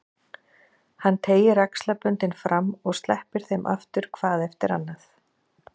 Hann teygir axlaböndin fram og sleppir þeim aftur hvað eftir annað.